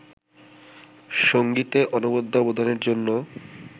সংগীতে অনবদ্য অবদানের জন্য